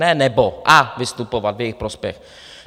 Ne nebo - a vystupovat v jejich prospěch.